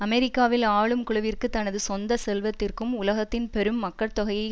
அமெரிக்காவில் ஆளும் குழுவிற்கு தனது சொந்த செல்வத்திற்கும் உலகத்தின் பெரும் மக்கட்தொகையை